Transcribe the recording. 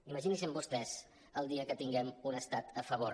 imaginin·se vostès el dia que tinguem un estat a favor